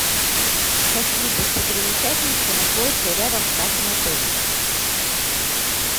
а какие достопримечательности находятся рядом с нашим отелем